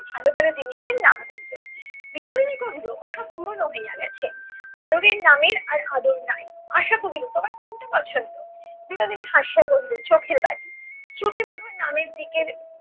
ভালো ভালো জিনিসের নাম বললো। বিনোদিনী কহিল ওসব পুরোনো হইয়া গেছে, আদরের নামের আর আদর নাই। আশা কহিল তোমার কোনটা পছন্দ? বিনোদিনী হাসিয়া কহিল চোখের বালি। শ্রুতিমধুর নামের দিকের